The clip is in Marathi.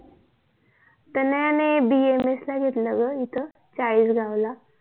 तनया ने BMS ला घेतला ग इथ चाळीस गावला